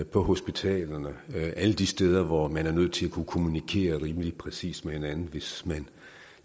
på hospitalerne alle de steder hvor man er nødt til at kunne kommunikere rimelig præcist med hinanden hvis man